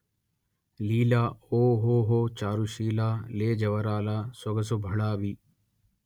లీలఓ ఓహొ చారుశీల లేజవరాలా సొగసు భళా వి